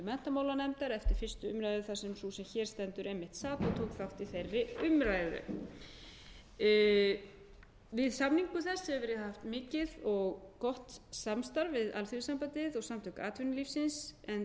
menntamálanefndar eftir fyrstu umræðu þar sem sú sem hér stendur einmitt sat og tók þátt í þeirri umræðu við samningu þess hefur verið haft mikið og gott samstarf við alþýðusambandið og samtök atvinnulífsins en þau hafa auðvitað í fræðslumálum staðið fyrir rekstri